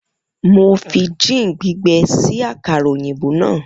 Mo fi gin gbigbẹ kun si akara oyinbo naa.